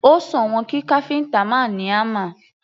Ó sòwọ́n kí káfíntà ó máa ní hámà.